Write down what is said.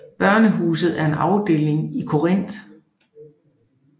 Børnehuset har en afdeling i Korinth